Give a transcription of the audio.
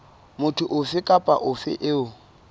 motho ofe kapa ofe eo